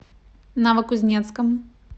новокузнецком